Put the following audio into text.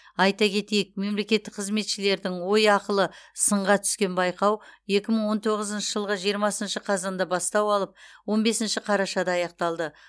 айта кетейік мемлекеттік қызметшілердің ой ақылы сынға түскен байқау екі мың он тоғызыншы жылғы жиырмасыншы қазанда бастау алып он бесінші қарашада аяқталды